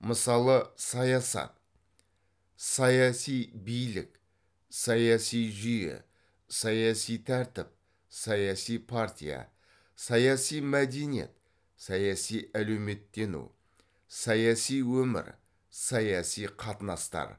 мысалы саясат саяси билік саяси жүйе саяси тәртіп саяси партия саяси мәдениет саяси әлеуметтену саяси өмір саяси қатынастар